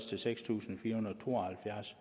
til seks tusind fire hundrede og to og halvfjerds